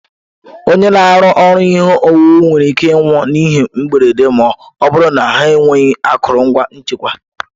Onye na-arụ ọrụ ihe owuwu nwere ike ịnwụ n'ihe mberede ma ọ bụrụ na ha enweghị akụrụngwa nchekwa.